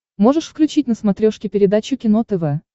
можешь включить на смотрешке передачу кино тв